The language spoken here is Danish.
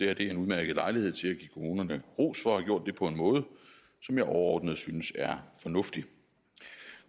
er en udmærket lejlighed til at give kommunerne ros for at have gjort det på en måde som jeg overordnet synes er fornuftig